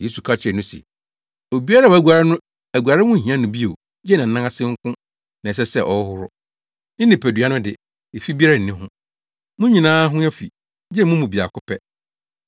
Yesu ka kyerɛɛ no se, “Obiara a waguare no aguaree ho nhia no bio gye nʼanan ase nko na ɛsɛ sɛ ɔhohoro, ne nipadua no de, efi biara nni ho. Mo nyinaa ho afi, gye mo mu baako pɛ.”